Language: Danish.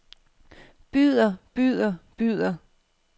byder byder byder